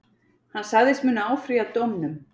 Hann sagðist munu áfrýja dómnum